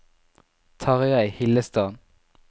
Tarjei Hillestad